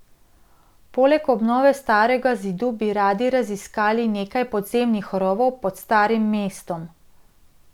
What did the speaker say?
Poleg obnove starega zidu bi radi raziskali nekaj podzemnih rovov pod starim mestom.